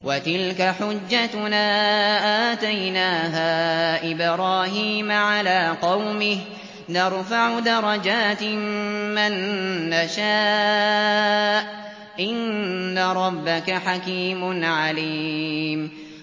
وَتِلْكَ حُجَّتُنَا آتَيْنَاهَا إِبْرَاهِيمَ عَلَىٰ قَوْمِهِ ۚ نَرْفَعُ دَرَجَاتٍ مَّن نَّشَاءُ ۗ إِنَّ رَبَّكَ حَكِيمٌ عَلِيمٌ